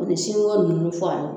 Oni sinko nunnu faali